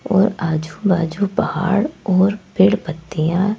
और आजू-बाजू पहाड़ और पेड़ पत्तियां--